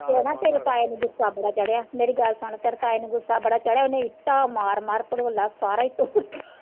ਤੇ ਨਾ ਤੇਰੇ ਤਾਏ ਨੂੰ ਗੁੱਸਾ ਬੜਾ ਚੜਿਆ, ਮੇਰੀ ਗੱਲ ਸੁਣ ਤੇਰੇ ਤਾਏ ਨੂੰ ਗੁੱਸਾ ਬੜਾ ਚੜਿਆ, ਓਨੇ ਇੱਟਾਂ ਮਾਰ ਮਾਰ ਭੜੋਲਾ ਸਾਰਾ ਹੀ ਤੋੜ ਤਾਂ।